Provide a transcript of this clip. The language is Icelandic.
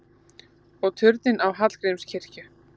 Og turninn á Hallgrímskirkju!